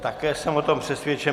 Také jsem o tom přesvědčen.